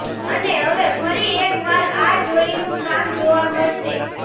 અને હવે ફરી એકવાર આ જોડીનું કામ જોવા મળશે